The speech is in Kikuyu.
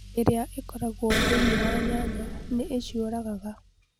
Ethylene ĩrĩa ĩkoragwo thĩinĩ wa nyanya nĩ ĩciũragaga